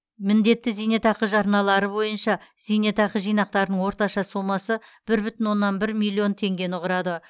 міндетті зейнетақы жарналары бойынша зейнетақы жинақтарының орташа сомасы бір бүтін оннан бір миллион теңгені құрады